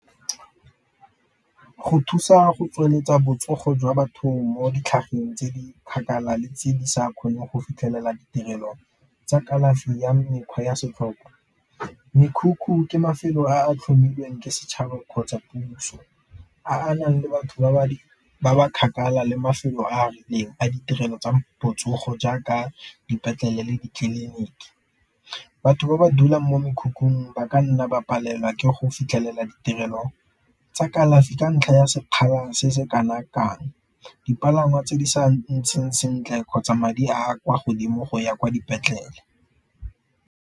Go thusa go tsweletsa botsogo jwa batho mo tse di kgakala le tse di sa kgoneng go fitlhelela ditirelo tsa kalafi ya mekgwa ya setlhokwa, mekhukhu ke mafelo a a tlhomilweng ke setšhaba kgotsa puso a a nang le batho ba ba kgakala le mafelo a a rileng a ditirelo tsa botsogo jaaka dipetlele le di-clinic. Batho ba ba dulang ko mekhukhung ba ka nna ba palelwa ke go fitlhelela ditirelo tsa kalafi ka ntlha ya sekgala se se kana kang, dipalangwa tse di sa ntseng sentle kgotsa madi a kwa godimo go ya kwa dipetlele.